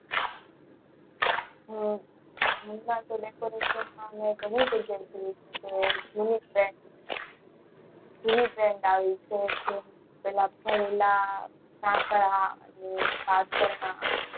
હમ ઘડીક રય ને આવીશ પેલા ઢાંકણા પાથરણાના